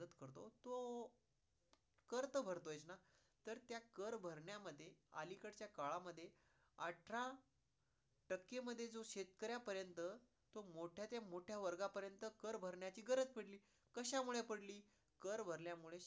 कर तर भरतोयच ना, तर त्या कर भारण्यामध्ये अलीकडच्या काळामध्ये अठरा टक्के मध्ये जो शेतकऱ्या पर्यंत तो मोठ्या ते मोठ्या वर्ग पर्यंत कर भरन्याची गरज पडली. कशामुळं पडली? कर भरल्यामुळं